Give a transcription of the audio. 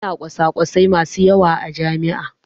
Ana kwasakwasai masu yawa a jami'a.